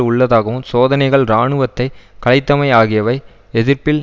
உள்ளதாகவும் சோதனைகள் இராணுவத்தை கலைத்தமை ஆகியவை எதிர்ப்பில்